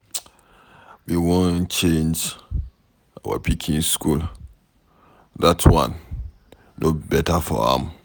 We wan change our pikin school, dat one no beta for am.